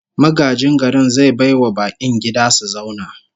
Magajin garin zai bai wa bakin gida su zauna